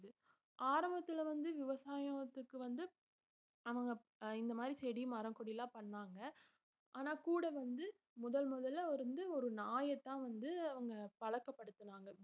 ஆரம்பத்துல வந்து விவசாயத்துக்கு வந்து அவங்க இந்த மாதிரி செடி மரம் கொடி எல்லாம் பண்ணாங்க ஆனா கூட வந்து முதல் முதல்ல வந்து ஒரு நாயத்தான் வந்து அவங்க பழக்கப்படுத்துனாங்க